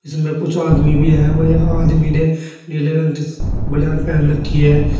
इसमें कुछ आदमी भी है वह एक आदमी ने नीले रंग की बनियान पेहन रखी है।